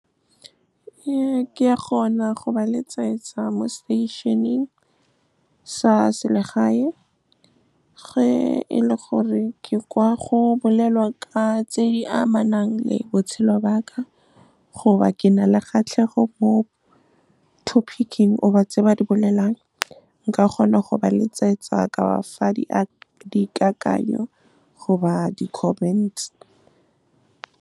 Ke a kgona go ba letsetsa mo seteišeneng sa selegae, ge e le gore ke kwa go bolelwa ka tse di amanang le botshelo ba ka goba ke na le kgatlhego mo topic-ing goba tse ba di bolelang. Nka kgona go ba letsetsa ka ba fa dikakanyo goba di-comments.